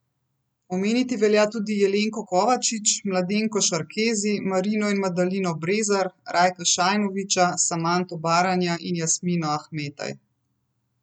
Omeniti velja tudi Jelenko Kovačič, Mladenko Šarkezi, Marino in Madalino Brezar, Rajka Šajnoviča, Samanto Baranja in Jasmino Ahmetaj.